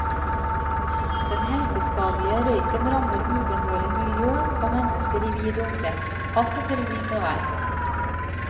Den helseskadelige røyken rammer ubønnhørlig miljø og mennesker i vid omkrets, alt etter vind og vær.